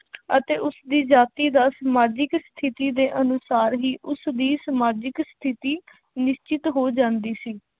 ਅਤੇ ਉਸਦੀ ਜਾਤੀ ਦਾ ਸਮਾਜਿਕ ਸਥਿੱਤੀ ਦੇ ਅਨੁਸਾਰ ਹੀ ਉਸਦੀ ਸਮਾਜਿਕ ਸਥਿੱਤੀ ਨਿਸ਼ਚਿਤ ਹੋ ਜਾਂਦੀ ਸੀ।